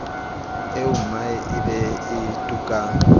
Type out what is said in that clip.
eommae e be e tukang